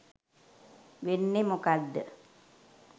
වෙන්නේ මොකද්ද